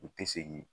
U tɛ segin